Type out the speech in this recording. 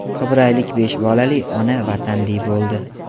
Qibraylik besh bolali ona vatanli bo‘ldi.